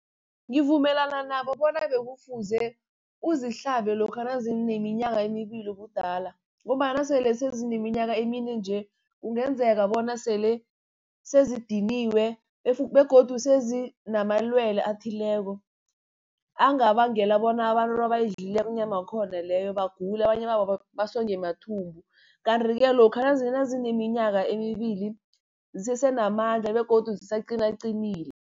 Ngivumelana nabo bona bekufuze uzihlabe lokha nazineminyaka emibili ubudala, ngombana nasele sezineminyaka emine nje kungenzeka bona sele sezidiniwe begodu sezi namalwele athileko, angabangela bona abantu nabayidlileko inyama yakhona leyo bagule abanye babo basongwe mathumbu. Kanti-ke lokha nazineminyaka emibili zisese namandla begodu zisaqinaqinile.